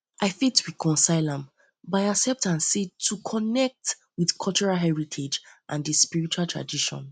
i fit reconcile am by accept am as di way to connect with cultural heritage and di sprirtual tradition